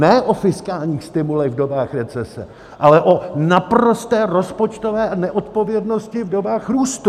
Ne o fiskálních stimulech v dobách recese, ale o naprosté rozpočtové neodpovědnosti v dobách růstu!